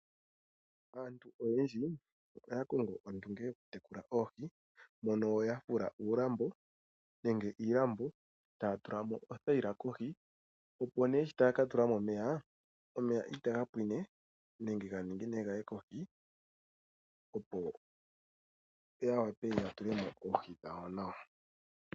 Aantu oyendji ohaya kongo ondunge yokutekula oohi, mono ya fula uulambo nenge iilambo, taya tula mo othaila kohi, opo nee shi taya ka tula mo omeya, omeya itaga pwine nenge ga ningine gaye kohi, opo ya wape ya tula mo oohi dhawo nawa.